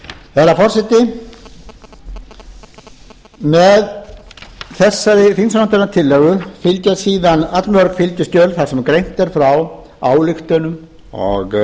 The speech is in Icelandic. herra forseti með þessari þingsályktunartillögu fylgja síðan allmörg fylgiskjöl þar sem greint er frá ályktunum og